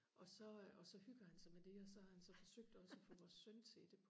og så og så hygger han sig med det og så har han så forsøgt også og få vores søn til det